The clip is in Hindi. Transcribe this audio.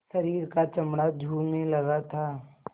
शरीर का चमड़ा झूलने लगा था